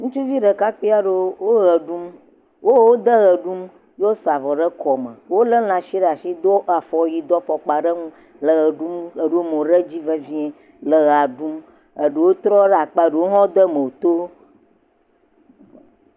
Ŋutsuvi ɖekakpui aɖeo wo ʋe ɖum wo wo de ʋe ɖum wosa avɔ ɖe kɔme, wolé lã si ɖe asi do afɔ wui do afɔkpa ɖe eŋu le ʋe ɖu ɖo mo ɖe edzi vevie le ʋea ɖum eɖewo rɔ ɖe akpa eɖewo hã de mo to.